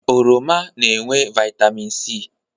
Oroma na-enwe vaịtamin C.